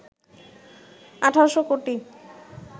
১,৮০০ কোটি